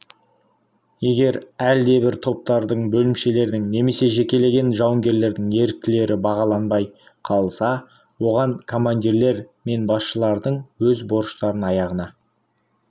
егер әлдебір топтардың бөлімшелердің немесе жекелеген жауынгерлердің ерліктері бағаланбай қалса оған командирлер мен басшылардың өз борыштарын аяғына